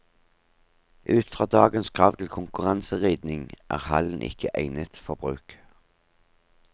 Ut fra dagens krav til konkurranseridning, er hallen ikke egnet for bruk.